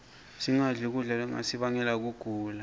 singadli kudla lokungasibangela kugula